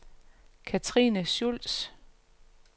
Cathrine Schultz